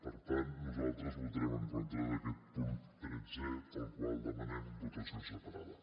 per tant nosaltres votarem en contra d’aquest punt tretzè per al qual demanem votació separada